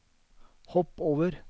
hopp over